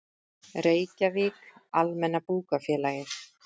Reykjavík: Almenna Bókafélagið.